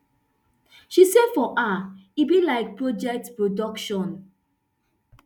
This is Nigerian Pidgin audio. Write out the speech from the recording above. she say for her e be like project production